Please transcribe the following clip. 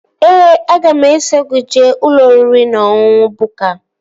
Ee ooooo, aga m eso gị jee ụlọ oriri na ọṅụṅụ Bukka